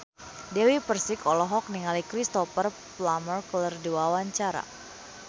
Dewi Persik olohok ningali Cristhoper Plumer keur diwawancara